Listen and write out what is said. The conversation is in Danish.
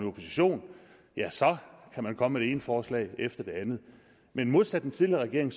opposition ja så kan man komme med det ene forslag efter det andet men modsat den tidligere regering